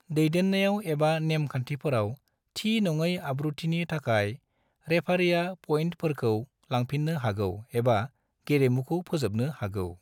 दैदेन्नायाव एबा नेम खान्थिफोराव थि नङै आब्रुथिनि थाखाय रेफारिआ पइन्टफोरखौ लांफिन्नो हागौ एबा गेलेमुखौ फोजोबनो हागौ।